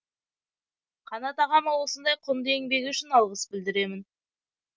қанат ағама осындай құнды еңбегі үшін алғыс білдіремін